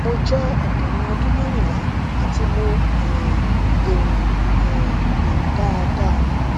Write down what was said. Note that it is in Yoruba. mo jẹ ọkùnrin ọdún merinla ati mo um le rin um le rin dáadáa